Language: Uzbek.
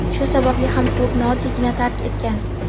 Shu sababli ham klubni oddiygina tark etgan.